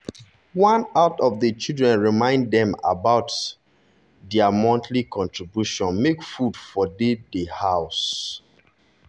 one out of the children remind dem about remind dem about dia monthly contribution makw food for dey for house